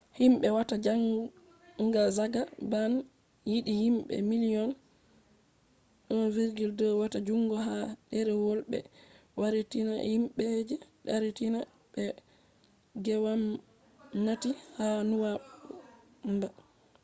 himbe watta zangazanga ban yidi himbe miliyon 1.2 wata jungo ha derewol be yarinta himbe je darinta be ha gwamnati ha nuwanba